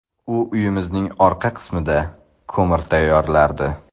U uyimizning orqa qismida ko‘mir tayyorlardi.